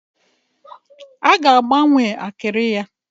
A ga-agbanwe akịrị ya.